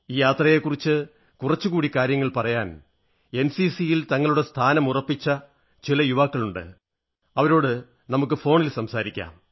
ഈ യാത്രയെക്കുറിച്ച് കുറച്ചു കാര്യങ്ങൾ കൂടി പറയാൻ എൻസിസിയിൽ തങ്ങളുടെ സ്ഥാനമുറപ്പിച്ച ചില യുവാക്കൾ കൂടെയുണ്ട് വരൂ അവരോട് ഫോണിൽ സംസാരിക്കാം